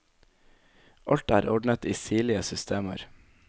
Alt er ordnet i sirlige systemer.